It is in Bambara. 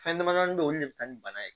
Fɛn dama damani bɛ ye olu de bɛ taa ni bana ye